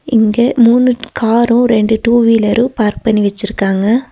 இங்க மூணு காரு ரெண்டு டூ வீலரு பார்க் பண்ணி வெச்சிருக்காங்க.